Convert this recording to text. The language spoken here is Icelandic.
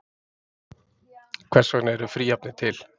Hvers vegna eru fríhafnir til?